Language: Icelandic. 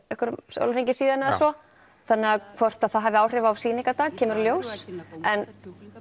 sólarhring síðan eða svo þannig hvort það hafi áhrif á sýningarnar kemur í ljós en